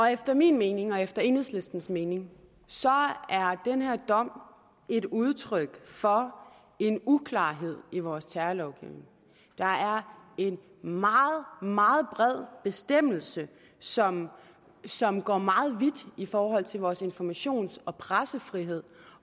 efter min mening og efter enhedslistens mening er den her dom et udtryk for en uklarhed i vores terrorlovgivning der er en meget meget bred bestemmelse som som går meget vidt i forhold til vores informations og pressefrihed